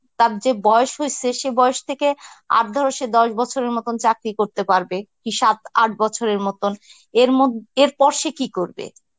তার চেয়ে বয়স হইসে সে বয়স থেকে আর ধরো সে দশ বছরের মতন চাকরি করতে পারবে, কি সাত আট বছরের মতন. এর মোদ~ এরপর সে কি করবে?